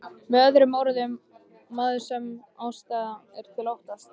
Með öðrum orðum, maður sem ástæða er til að óttast.